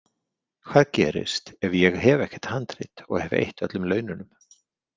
Hvað gerist ef ég hef ekkert handrit og hef eytt öllum laununum?